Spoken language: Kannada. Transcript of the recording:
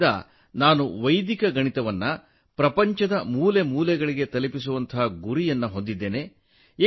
ಅಂದಿನಿಂದ ನಾನು ವೈದಿಕ ಗಣಿತವನ್ನು ಪ್ರಪಂಚದ ಮೂಲೆ ಮೂಲೆಗಳಿಗೆ ತಲುಪಿಸುವ ಗುರಿಯನ್ನು ಹೊಂದಿದ್ದೇನೆ